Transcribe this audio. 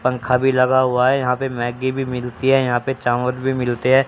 पंखा भी लगा हुआ है यहाँ पे मैगी भी मिलती है यहाँ पे चाउंर भी मिलते है।